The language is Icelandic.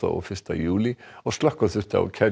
og fyrsta júlí og slökkva þurfti á